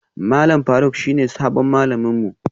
Malam Faruk shine sabon malamin mu